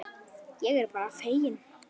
Ég er bara feginn.